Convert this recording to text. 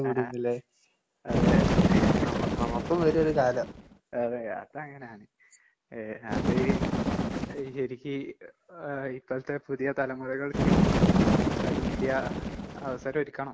ആഹ് ആഹ് അതെ. അതെ. അതങ്ങനാണ്. ഏഹ് അത് ഏഹ് ശെരിക്ക് എ ആഹ് ഇപ്പഴത്തെ പുതിയ തലമുറകൾക്ക് അഹ് ഇന്ത്യ അവസരൊരുക്കണം.